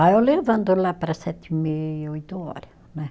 Ai eu levanto lá para as sete e meia, oito hora, né.